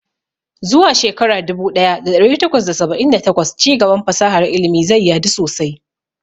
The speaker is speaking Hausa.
Zuwa shekara dubu ɗaya da ɗari takwas da saba'in da takwas, ci gaban fasahar ilimi zai yadu sosai.